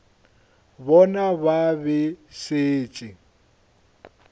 bona ba be ba šetše